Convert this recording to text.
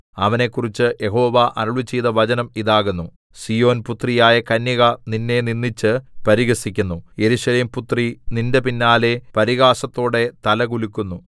അവനെക്കുറിച്ച് യഹോവ അരുളിച്ചെയ്ത വചനം ഇതാകുന്നു സീയോൻപുത്രിയായ കന്യക നിന്നെ നിന്ദിച്ച് പരിഹസിക്കുന്നു യെരൂശലേംപുത്രി നിന്റെ പിന്നാലെ പരിഹാസത്തോടെ തല കുലുക്കുന്നു